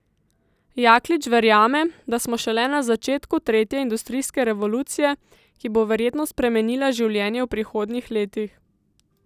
Jaklič verjame, da smo šele na začetku tretje industrijske revolucije, ki bo verjetno spremenila življenje v prihodnjih letih.